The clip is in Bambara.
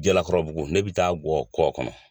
Jalakɔrɔbugu ne bɛ taa bɔ kɔ kɔnɔ